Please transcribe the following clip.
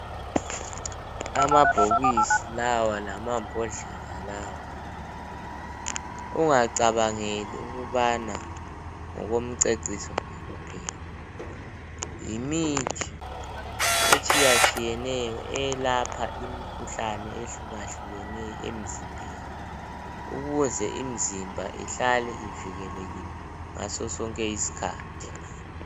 Amabhokisi lawa lamabhodlela lawa. Ungacabangeli ukubana ngokwemiceciso nje kuphela. Yimithi etshiyatshiyeneyo, elapha imikhuhlane ehlukahlukeneyo emzimbeni. Ukuze imzimba ihlale ivekelekile ngaso sonke iskhathi.